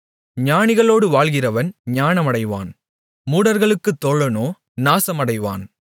ஞானிகளோடு வாழ்கிறவன் ஞானமடைவான் மூடர்களுக்குத் தோழனோ நாசமடைவான்